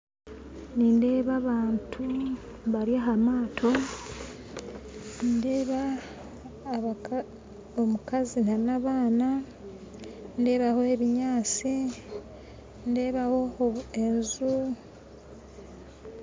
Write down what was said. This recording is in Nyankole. Nindeeba abantu bari aha maato nindeeba omukazi na n'abaana ndeebaho ebinyaatsi nindeebaho enju